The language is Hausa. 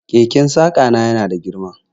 Keken saƙa na yana da girma.